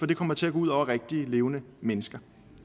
det kommer til gå ud over rigtig levende mennesker